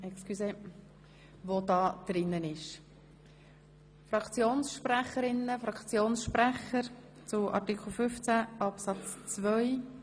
Wünschen Fraktionssprecherinnen und Fraktionssprecher das Wort zu Artikel 15 Absatz 2?